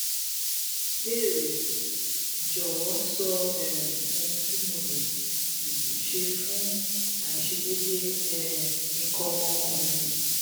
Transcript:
ìbéèrè: jọ̀wọ́ sọ um ohun tí mo lè um ṣe fún aiṣedeede um ikan ọmọ ọkùnrin